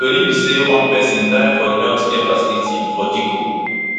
tori be say one pesin die for di healthcare facility for dikko